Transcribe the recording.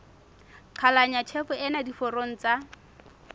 qhalanya tjhefo ena diforong tsa